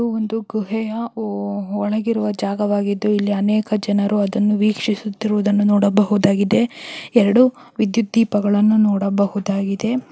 ಒಂದು ಗುಹೆಯ ಒ-ಒಳಗೆ ಇರುವ ಜಾಗವಾಗಿದ್ದು ಇಲ್ಲಿ ಅನೇಕ ಜನರು ಅದನ್ನು ವೀಕ್ಷಿಸುತ್ತಾ ಇರುವುದನ್ನು ನೋಡಬಹುದಾಗಿದೆ. ಎರೆಡು ವಿದ್ಯುತ್ ದೀಪಗಳನ್ನೂ ನೋಡಬಹುದಾಗಿದೆ.